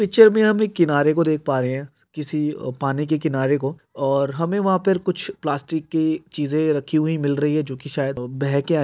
picture में हम एक किनारे को देख पा रहे हैं किसी पानी के किनारे को और हमे वहां पर कुछ प्लास्टिक की चीजें रखी हुई मिल रही हैं जो कि शायद बह के आई --